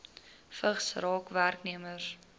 vigs raak werknemers